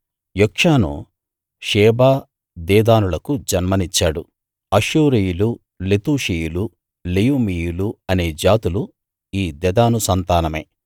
Jokshan Sheba దెదానులకు జన్మనిచ్చాడు అష్షూరీయులు లెతూషీయులు లెయుమీయులు అనే జాతులు ఈ దెదాను సంతానమే